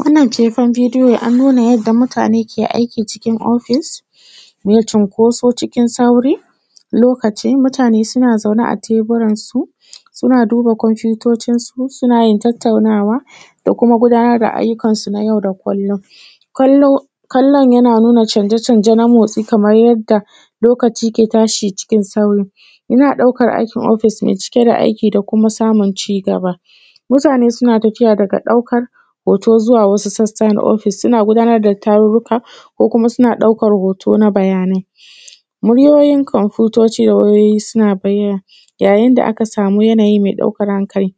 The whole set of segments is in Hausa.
Wannan fefan bidiyon an nuna yadda mutane ke aiki cikin ofis, me cinkoso cikin sauri lokaci mutane suna zaune a teburansu, suna duba komfotocinsu, suna yin tataunawa, da kuma gudanar da ayyukansu na yau da kullum. Kallo kallon yana nuna canje-canje nan a motsi, kamar yadda lokaci ke tashi cikin sauri. Ina ɗaukar aikin ofis mai cike da aiki da kuma da kuma samun zigaba. Mutane suna tafiya daga ɗaukar hoto zuwa wasu sassa na ofis, suna gudanar da tarurruka, ko kuma suna ɗaukar hoto na bayanai. Muryoyin komfotoci da wayoyi suna baya, ya yin da aka sami yanayi mai ɗaukar hankali,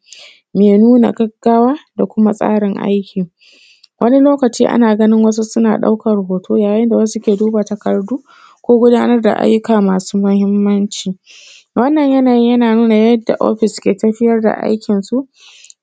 mai nuna gaggawa da tsarin aiki. Wani lokaci ana ganin wasu suna ɗaukar hoto, ya yin da wasu suna duba takardu, ko gudanar da ayyuka masu muhimmanci. Wannan yanayi yana nuna yadda ofis ke tafiyar da aikinsu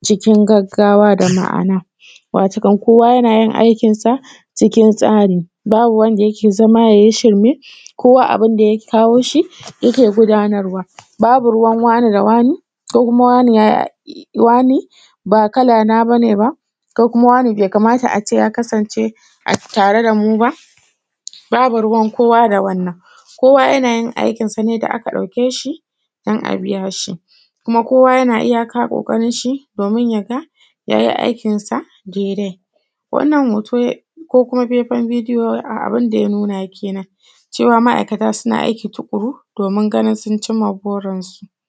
cikin gaggawa da ma’ana, wato kan kowa yana yin aikinsa cikin tsari, babu wanda yake zama ya yi shirme, kowa abin da ya kawo shi yake gudanarwa, babu ruwan wane da wane. Ko kuma wane ya wane ba kala na ba ne ba. Ko kuma wane be kamata a ce ya a tare da mu ba, babu ruwan kowa da wannan. Kowa yana yin aikinsa ne da aka ɗauke shi dan a biya shi, kuma kowa yana iyaka ƙoƙarinshi domin ya ga ya yi aikinsa daidai. Wannan hoto ko kuma faifan bidiyo abin da ya nuna kenan, cewa ma’aikata suna aiki tuƙuru domin ganin sun cimma burinsu.